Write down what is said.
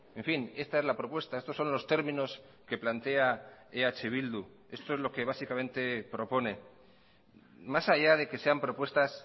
en fin esta es la propuesta estos son los términos que plantea eh bildu esto es lo que básicamente propone más allá de que sean propuestas